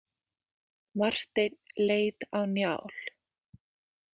Marteinn leit á Njál.